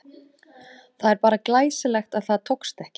Það er bara glæsilegt að það tókst ekki!